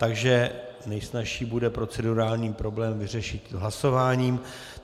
Takže nejsnazší bude procedurální problém vyřešit hlasováním.